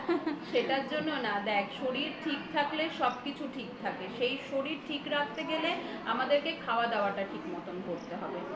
সেটার জন্য না দেখ শরীর ঠিক থাকলে সবকিছু ঠিক থাকে সেই শরীর ঠিক রাখতে গেলে আমাদেরকে খাওয়া দাওয়া টা ঠিক মতন করতে হবে